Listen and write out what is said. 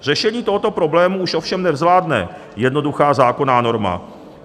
Řešení tohoto problému už ovšem nezvládne jednoduchá zákonná norma.